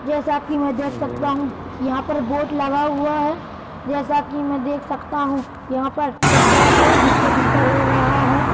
जैसा कि मैं देख सकता हूं यहाँ पर बोट लगा हुआ है जैसा कि मैं देख सकता हूं यहाँ पर एक बेड है जिस पर बिस्तर हो रहा है।